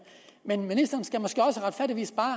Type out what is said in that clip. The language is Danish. men ministeren skal måske også retfærdigvis bare